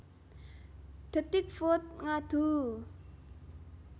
Detikfood Ngaduuu